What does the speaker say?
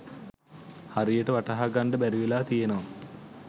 හරියට වටහා ගන්ඩ බැරිවෙලා තියනවා.